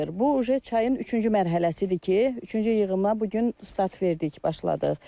Bu uje çayın üçüncü mərhələsidir ki, üçüncü yığıma bu gün start verdik, başladıq.